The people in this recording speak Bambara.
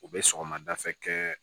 U bɛ sɔgɔmadafɛ kɛ